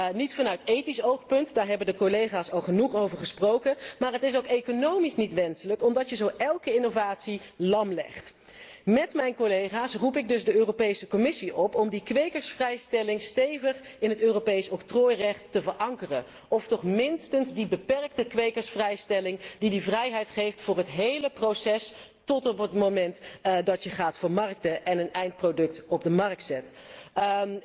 Het mag niet vanuit ethisch oogpunt daar hebben de collega's al genoeg over gesproken maar het is ook economisch niet wenselijk omdat zo elke innovatie wordt lamgelegd. Met mijn collega's roep ik dus de Commissie op om de kwekersvrijstelling stevig in het Europees octrooirecht te verankeren of toch minstens de beperkte kwekersvrijstelling, die de vrijheid geeft voor het hele proces tot op het moment dat je gaat vermarkten en een eindproduct op de markt brengt.